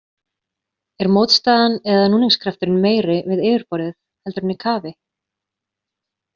Er mótstaðan eða núningskrafturinn meiri við yfirborðið, heldur en í kafi?